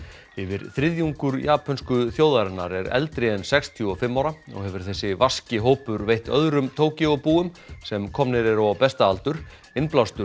yfir þriðjungur japönsku þjóðarinnar er eldri en sextíu og fimm ára og hefur þessi vaski hópur veitt öðrum Tókýóbúum sem komnir eru á besta aldur innblástur